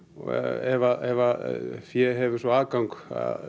ef fé hefur svo aðgang